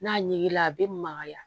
N'a ɲiginna a be magaya